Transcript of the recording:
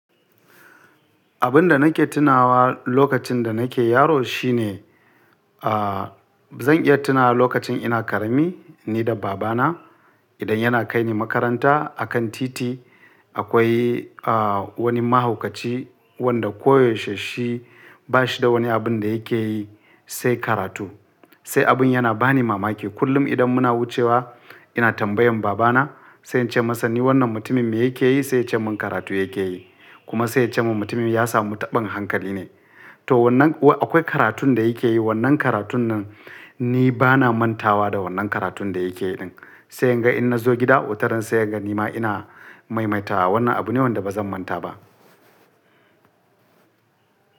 Abin da nake tunawa lokacin da nake yaro shine, a, zan iya tuna lokacin ina ƙarami ni da baba na idan yana kai ni makaranta a kan titi akwai, a, wani mahaukaci wanda koyaushe shi ba shi da wani abin da yake yi sai karatu. Sai abin yana bani mamaki kullum idan muna wucewa ina tambayan baba na sai in ce masa ni wannan mutumin me yake yi? Sai ya ce mun karatu yake yi. Kuma sai ya ce mun mutumin ya samu taɓin hankali ne. To wannan, akwai karatun da yake yi wannan karatun nan ni bana manta wa da wannan karatun da yake yi din. Sai yadda in na zo gida, wutar nan sai yadda nima ina maimaita wa wannan abu ne wanda ba zan manta ba.